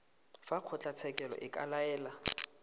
fa kgotlatshekelo e ka laela